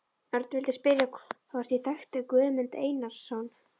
Örn vildi spyrja hvort ég þekkti Guðmund Einarsson.